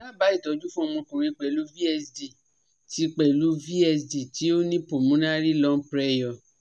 daba itoju fun omokunrin pelu VSD ti pelu VSD ti o ni pulmonary lung pressure